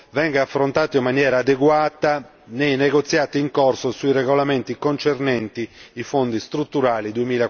venga affrontato in maniera adeguata nei negoziati in corso sui regolamenti concernenti i Fondi strutturali per il periodo